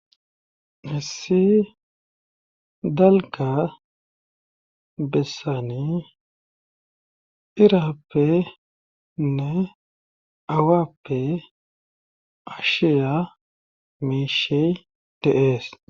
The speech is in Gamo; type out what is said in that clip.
Misile dalga bessani iraappenne awappe ashiya meishey tehees.